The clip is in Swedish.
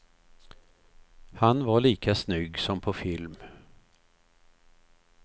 Han var lika snygg som på film.